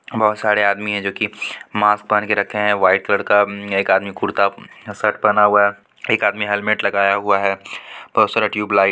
बहुत सारे आदमी है जो की मास्क पहन के रखे है व्हाइट कलर का एक आदमी कुर्ता शर्ट पहना हुआ एक आदमी हेलमेट लगाया हुआ है बहुत सारा ट्यूब लाइट --